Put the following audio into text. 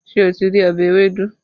Ṣé o ti rí ọbẹ̀ ewédú?